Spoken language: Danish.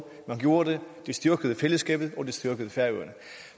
man gjorde det det styrkede fællesskabet og det styrkede færøerne